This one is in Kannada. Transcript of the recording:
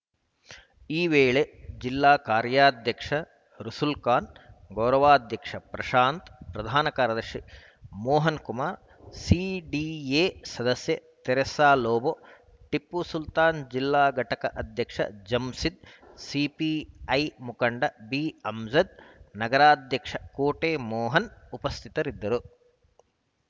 ಈ ವೇಳೆ ಜಿಲ್ಲಾ ಕಾರ್ಯಾಧ್ಯಕ್ಷ ರಸುಲ್‌ಖಾನ್‌ ಗೌರವ ಅಧ್ಯಕ್ಷ ಪ್ರಶಾಂತ್‌ ಪ್ರಧಾನ ಕಾರ್ಯದರ್ಶಿ ಮೋಹನ್‌ಕುಮಾರ್‌ ಸಿಡಿಎ ಸದಸ್ಯೆ ತೆರಸಾಲೋಭೊ ಟಿಪ್ಪುಸುಲ್ತಾನ್‌ ಜಿಲ್ಲಾ ಘಟಕ ಅಧ್ಯಕ್ಷ ಜಂಸಿದ್‌ ಸಿಪಿಐ ಮುಖಂಡ ಬಿಅಮ್ಜದ್‌ ನಗರಾಧ್ಯಕ್ಷ ಕೋಟೆ ಮೋಹನ್‌ ಉಪಸ್ಥಿತರಿದ್ದರು